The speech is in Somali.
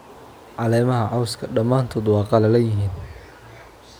Caleemaha cawska dhamaantood waa qallalan yihiin.